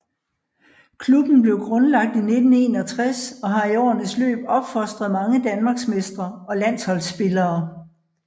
Klubben blev grundlagt i 1961 og har i årenes løb opfostret mange danmarksmestre og landsholdsspillere